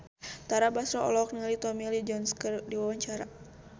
Tara Basro olohok ningali Tommy Lee Jones keur diwawancara